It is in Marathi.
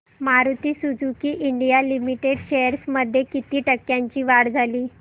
Maruti Suzuki India Limited shares मध्ये किती टक्क्यांची वाढ झाली